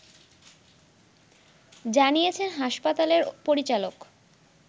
জানিয়েছেন হাসপাতালের পরিচালক